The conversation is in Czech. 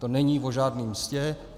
To není o žádné mstě.